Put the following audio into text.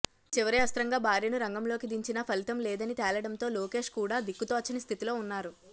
చివరి అస్త్రంగా భార్యను రంగంలోకి దించినా ఫలితంలేదని తేలడంతో లోకేష్ కూడా దిక్కుతోచని స్థితిలో ఉన్నారు